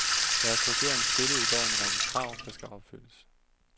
Deres regering stillede i går en række krav, der skal opfyldes.